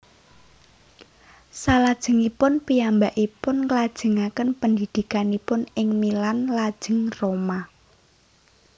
Salajengipun piyambakpipun nglajengaken pendidikanipun ing Milan lajeng Roma